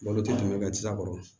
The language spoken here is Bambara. Malo tɛ tun bɛ s'a kɔrɔ